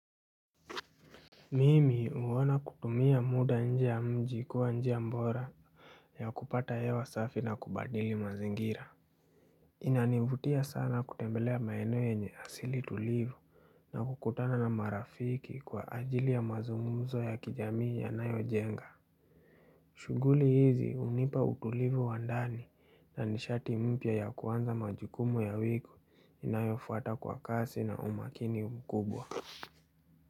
Mimi huona kutumia muda nje ya mji kuwa nji ya bora ya kupata hewa safi na kubadili mazingira. Inanivutia sana kutembelea maeneo yenye asili tulivu na kukutana na marafiki kwa ajili ya mazungumzo ya kijamii yanayojenga. Shughuli hizi hunipa utulivu wa ndani na nishati mpya ya kuanza majukumu ya wiki inayofuata kwa kasi na umakini mkubwa.